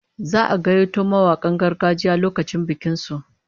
Za'a gayyato mawakan gargajiya lokacin bikin su